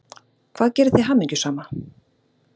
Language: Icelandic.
Hvað gerir þig hamingjusama?